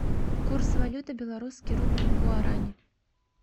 курс валюты белорусский рубль к гуарани